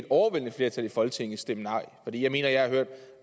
overvældende flertal i folketinget formentlig stemme nej for jeg mener at jeg har hørt